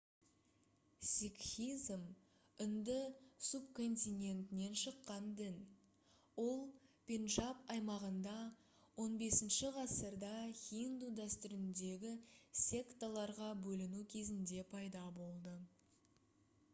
сикхизм үнді субконтинентінен шыққан дін ол пенджаб аймағында 15-ғасырда хинду дәстүріндегі секталарға бөліну кезінде пайда болды